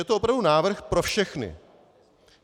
Je to opravdu návrh pro všechny.